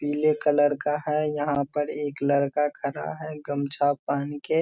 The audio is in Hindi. पीले कलर का है यहाँ पर एक लड़का खड़ा है गमछा पहन के ।